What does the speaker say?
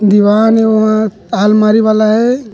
दीवान ए ओहा आलमारी वाला हे।